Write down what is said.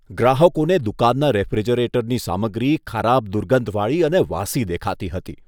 ગ્રાહકોને દુકાનના રેફ્રિજરેટરની સામગ્રી ખરાબ દુર્ગંધવાળી અને વાસી દેખાતી હતી.